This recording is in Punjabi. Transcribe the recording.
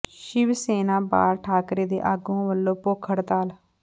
ਸ਼ਿਵ ਸੈਨਾ ਬਾਲ ਠਾਕਰੇ ਦੇ ਆਗੂਆਂ ਵੱਲੋਂ ਭੁੱਖ ਹੜਤਾਲ